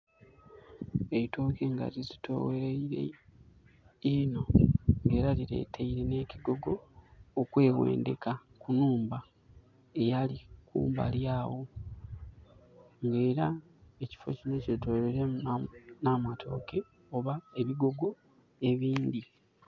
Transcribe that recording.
Eitooke nga lizitoweirereyo inho era lireteire ne kigogo okwewendeka ku nhumba eyali kumbali agho nga era ekifo kino kyetoloiremu na matooke oba ebigogo ebindhi